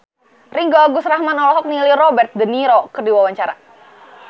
Ringgo Agus Rahman olohok ningali Robert de Niro keur diwawancara